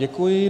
Děkuji.